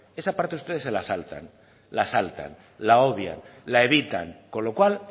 esa parte ustedes se la saltan la saltan la obvian la evitan con lo cual